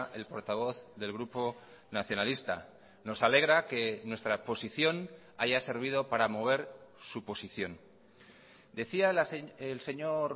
el portavoz del grupo nacionalista nos alegra que nuestra posición haya servido para mover su posición decía el señor